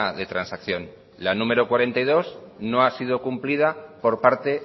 de transacción la número cuarenta y dos no ha sido cumplida por parte